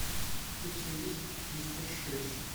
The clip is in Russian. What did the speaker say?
у тебя есть мистер шесть